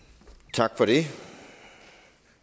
tak for det